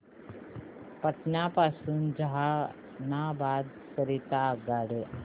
पटना पासून जहानाबाद करीता आगगाडी